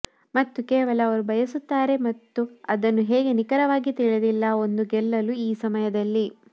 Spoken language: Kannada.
ಮತ್ತು ಕೇವಲ ಅವರು ಬಯಸುತ್ತಾರೆ ಮತ್ತು ಅದನ್ನು ಹೇಗೆ ನಿಖರವಾಗಿ ತಿಳಿದಿಲ್ಲ ಒಂದು ಗೆಲ್ಲಲು ಈ ಸಮಯದಲ್ಲಿ